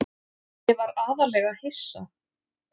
Ég var aðallega hissa.